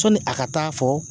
Sɔni a ka taa fɔ